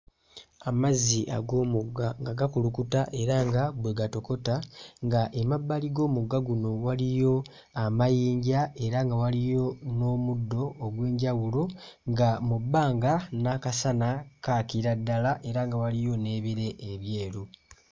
Amazzi ag'omugga nga gakulukuta era nga bwe gatokota nga emabbali g'omugga guno waliyo amayinja era nga waliyo n'omuddo ogw'enjawulo nga mu bbanga n'akasana kaakira ddala era nga waliyo n'ebire ebyeru.